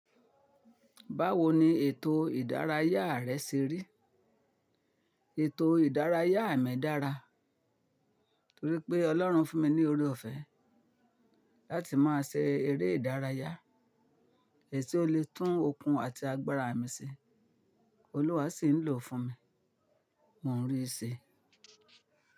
Báwo ni ètò ìdárayá rẹ ṣe rí? Ètò ìdárayá mi dára, torí pé Ọlọ́run fún mi ní oore-ọ̀fẹ́ láti máa ṣe eré ìdárayá èsì ó le tún okun àti agbára mi ṣe, Olúwa sì ń lò ó fún mi, mò ń rí i ṣe.